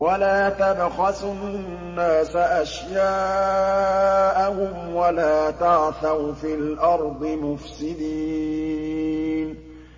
وَلَا تَبْخَسُوا النَّاسَ أَشْيَاءَهُمْ وَلَا تَعْثَوْا فِي الْأَرْضِ مُفْسِدِينَ